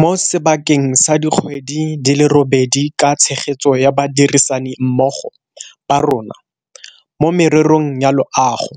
Mo sebakeng sa dikgwedi di le robedi ka tshegetso ya badirisanimmogo ba rona mo mererong ya loago,